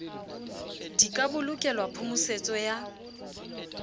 di ka bolokelwa phomosetso ya